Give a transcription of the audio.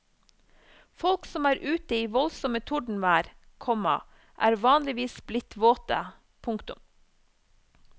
Folk som er ute i voldsomme tordenvær, komma er vanligvis blitt våte. punktum